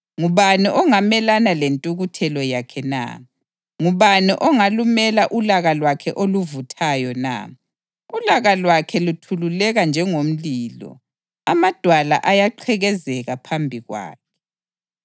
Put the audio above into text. Ngubani ongamelana lentukuthelo yakhe na? Ngubani ongalumela ulaka lwakhe oluvuthayo na? Ulaka lwakhe luthululeka njengomlilo; amadwala ayaqhekezeka phambi kwakhe.